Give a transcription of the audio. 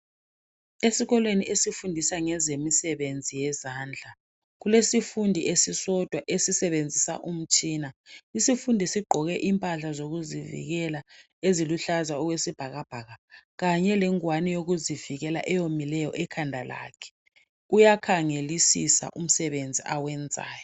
Esikolweni esifundisa ngezemisebenzi yezandla. Kulesifundi esisodwa esisebenzisa umtshina. Isifundi sigqoke impahla zokuzivikela eziluhlaza okwesibhakabhaka kanyè lengwane yokuzivikela eyomileyo ekhanda lakhe uyakhangelisisa umsebenzi awenzayo